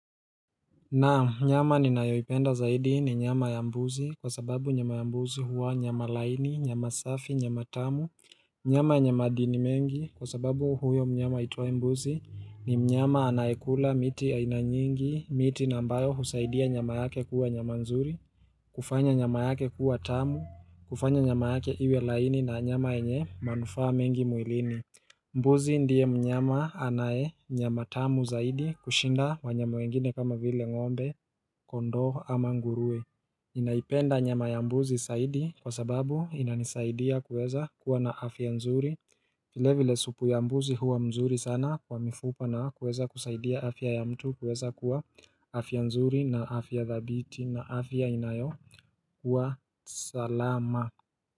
Na nyama ninayoipenda zaidi ni nyama ya mbuzi kwa sababu nyama ya mbuzi huwa nyama laini, nyama safi, nyama tamu, nyama yenye madini mengi kwa sababu huyo mnyama aitwaye mbuzi ni mnyama anayekula miti aina nyingi, miti na ambayo husaidia nyama yake kuwa nyama nzuri, hufanya nyama yake kuwa tamu, hufanya nyama yake iwe laini na nyama yenye manufaa mengi mwilini. Mbuzi ndiye mnyama anaye nyama tamu zaidi kushinda wanyama wengine kama vile ngombe kondoo ama nguruwe naipenda nyama ya mbuzi zaidi kwa sababu inanisaidia kuweza kuwa na afya nzuri vile vile supu ya mbuzi huwa mzuri sana kwa mifupa na kuweza kusaidia afya ya mtu kuweza kuwa afya nzuri na afya dhabiti na afya inayo kuwa salama.